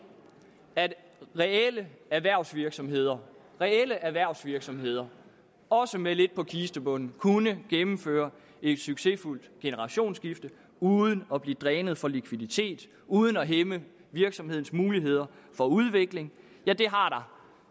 at reelle erhvervsvirksomheder reelle erhvervsvirksomheder også med lidt på kistebunden kunne gennemføre et succesfuldt generationsskifte uden at blive drænet for likviditet uden at hæmme virksomhedernes muligheder for udvikling